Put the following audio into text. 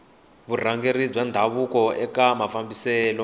vurhangeri bya ndhavuko eka mafambiselo